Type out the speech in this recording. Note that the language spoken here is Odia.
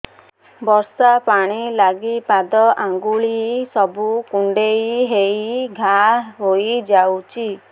ବର୍ଷା ପାଣି ଲାଗି ପାଦ ଅଙ୍ଗୁଳି ସବୁ କୁଣ୍ଡେଇ ହେଇ ଘା ହୋଇଯାଉଛି